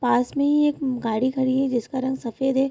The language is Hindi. पास में ही एक गाडी खड़ी है जिसका रंग सफ़ेद है।